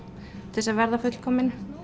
til þess að verða fullkomin